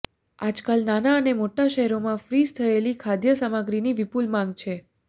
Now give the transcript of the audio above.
આજકાલ નાના અને મોટા શહેરોમાં ફ્રીઝ થયેલી ખાદ્ય સામગ્રીની વિપુલ માંગ છે